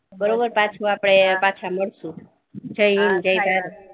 બરોબર પાછુ આપણે પાછા મળીશુ જય઼ હિંદ જ્ય઼ ભારત